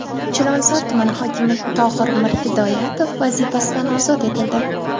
Chilonzor tuman hokimi Tohir Mirhidoyatov vazifasidan ozod etildi.